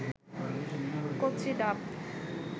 কচি ডাব